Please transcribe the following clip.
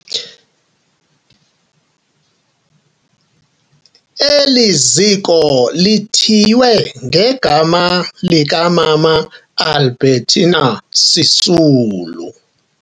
Eli ziko lithiywe ngegama likaMama Albertina Sisulu.